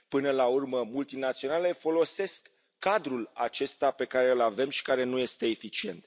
Până la urmă, multinaționalele folosesc cadrul acesta pe care îl avem și care nu este eficient.